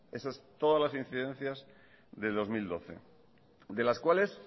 eso es todas las incidencias de dos mil doce de las cuales